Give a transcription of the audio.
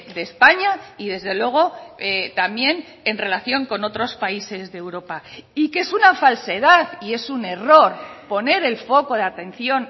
de españa y desde luego también en relación con otros países de europa y que es una falsedad y es un error poner el foco de atención